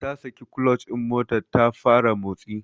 Ta saki clutch din motar ta fara motsi.